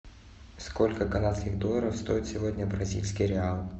сколько канадских долларов стоит сегодня бразильский реал